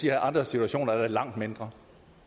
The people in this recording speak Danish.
i andre situationer er det langt mindre